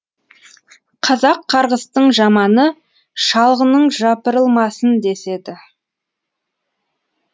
қазақ қарғыстың жаманы шалғының жапырылмасын деседі